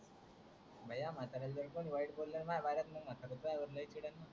ह्या म्हाताऱ्याला कोणी वाईट बोललं ना madam त्वा वर लई चिडण